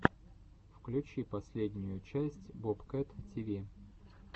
включи последнюю часть бобкэт тиви